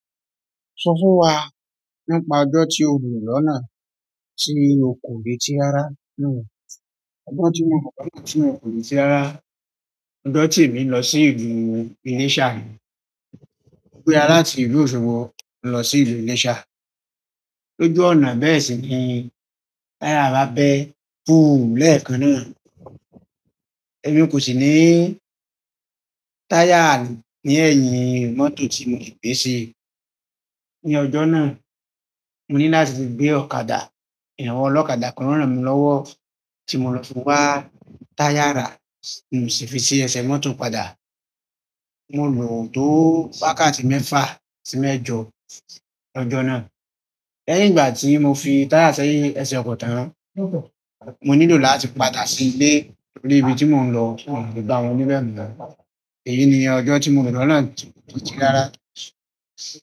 Sọ fún wa nípa ọjọ́ tí o lò lọ́nà ti ò kò re ti rara náà. Ọjọ́ tí mo lò lọ́nà tí n kò reti rara, ọjọ́ tí emi lọ sí ìlú Iléṣà, mo gbéra látí ìlú Òṣogbo lọ sí ìlú Iléṣà. Lójú ọ̀nà bẹ́ẹ̀ sì ni táyà bàbá bẹ́ẹ́ pùúú lẹ́kan náà. Èmi kò sì ní táyà ní ẹ̀yìn mọ́tò tí mo gbé ṣi. Ni ọjọ́ náà, mo ní láti gbé ọ̀kadà. Awọ̀n ọlọ́kadà kan ràn mí lọ́wọ́ tí mo lọ fún wa táyà ra tí mo sì fi ṣi ẹsẹ̀ mọ́tò padà. Mo lò tó wákàtí mẹ́fà sí mẹ́jọ lọ́jọ́ náà. Lẹ́yìn ìgbà ti mo fi tire sẹ́yìn ese oko tan mo ni lo láti padà sile torí ibi ti mo n lo ko le gba àwọn ni èyí ni ojo ti mo lo lọ́nà ti rara.